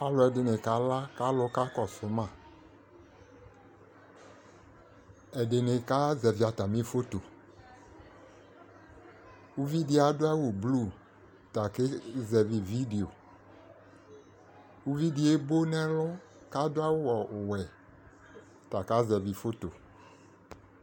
Alɛde ne kala ka alu ka kɔso maƐdene kazɛvi atame fotoUvi de ado awu blu ɔta ke zɛvi vidiiUvi de ebo nɛlu kado awu ɔwɛ ta ka zɛvi foto